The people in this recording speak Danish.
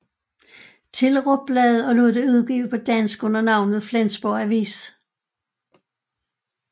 Thillerup bladet og lod det udgive på dansk under navnet Flensborg Avis